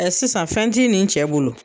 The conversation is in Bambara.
Ɛɛ sisan fɛn ti nin cɛ bolo